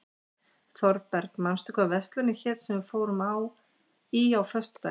Þorberg, manstu hvað verslunin hét sem við fórum í á föstudaginn?